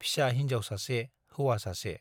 फिसा हिन्जाव सासे, हौवा सासे।